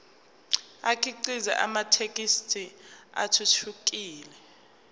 akhiqize amathekisthi athuthukile